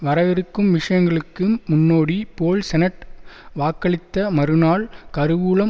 வரவிருக்கும் விஷயங்களுக்கு முன்னோடி போல் செனட் வாக்களித்த மறுநாள் கருவூலம்